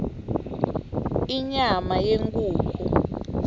inyama yenkhukhu